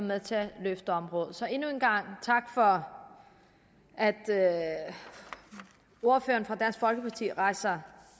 med til at løfte området så endnu en gang tak for at ordføreren for dansk folkeparti rejser